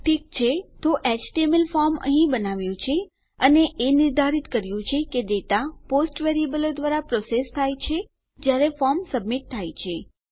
ઠીક છે તો એચટીએમએલ ફોર્મ અહીં બનાવ્યું છે અને એ નિર્ધારિત કર્યું કે ડેટા પોસ્ટ વેરીએબલો દ્વારા પ્રોસેસ થાય છે જયારે ફોર્મ સબમીટ થાય છે